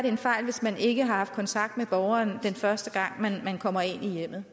en fejl hvis man ikke har haft kontakt med borgeren den første gang man kommer ind i hjemmet